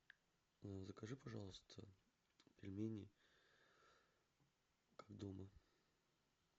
закажи пожалуйста пельмени как дома